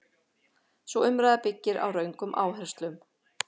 Sú umræða byggir á röngum áherslum.